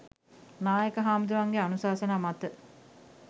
නායක හැමුදුරුවන්ගේ අනුශාසනා මත